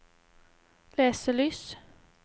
leselys